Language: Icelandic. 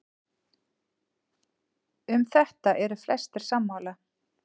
um þetta eru flestir sammála